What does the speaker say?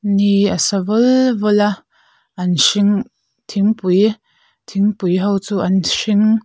ni a sa vul vul a an hring thingpui thingpui ho chu an hring--